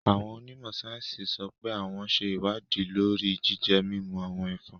Awón onimo sayensi sope awon n se iwadi lori jije-mimu awon efòn